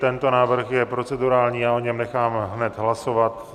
Tento návrh je procedurální, já o něm nechám hned hlasovat.